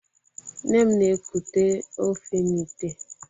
Nne m na-ekute ofe n'ìtè.